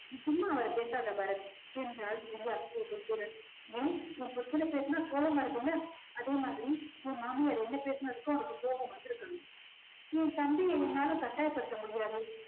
நீ சும்மா அவர பேசாத பரத் என்றாள் திவ்யா கோபத்துடன் ஏன் உன் புருஷனை பேசுனா கோவம் வருதுல்ல. அதே மாதிரி உன் மாமியார் என்ன பேசுனதுக்கும் அவளுக்கு கோபம் வந்துருக்கணும் என் தம்பிய என்னால கட்டாயப்படுத்த முடியாது